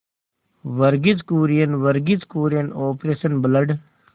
Verghese Kurien Verghese Kurien operation blood